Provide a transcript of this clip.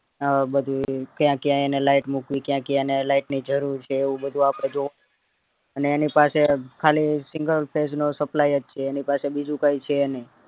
અ બધુય ક્યાં ક્યાં એને light મુકવી ક્યાં ક્યાં light ની જરૂર છે એવું બધૂ આપડે જોવું અને એની પાસે ખાલી single phase જો supply જ છે એની પાસે બીજું કય છે નય